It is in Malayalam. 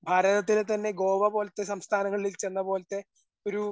ഭാരതത്തിലെത്തന്നെ ഗോവ പോലത്തെ സംസ്ഥാനങ്ങളിൽ ചെന്നപോലത്തെ ഒരു